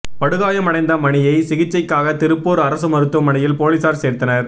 படுகாயம் அடைந்த மணியை சிகிச்சைக்காக திருப்பூர் அரசு மருத்துவமனையில் போலீஸார் சேர்த்தனர்